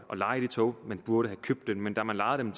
at leje de tog man burde have købt dem men da man lejede